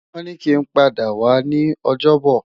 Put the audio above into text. Won ni ki n pada wa ni Ojobo